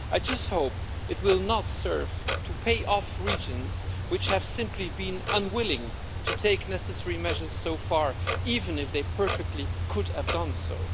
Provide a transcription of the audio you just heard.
I just hope it will not serve to pay off regions which have simply been unwilling to take necessary measures so far, even if they perfectly well could have done so.